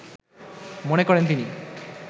মনে করেন তিনি